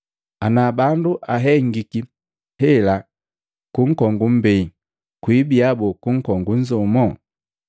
Ana bandu ahengiki hela ku nkongu mmbei, kwibia boo ku nkongu nzomu?”